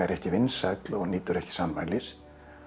ekki vinsæll og nýtur ekki sannmælis